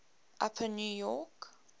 upper new york